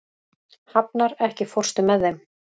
Hafnar, ekki fórstu með þeim?